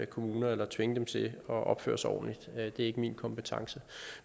kommuner eller tvinge dem til at opføre sig ordentligt det er ikke min kompetence